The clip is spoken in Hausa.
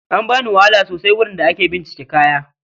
An bani wahala sosai wurin da ake bincika kaya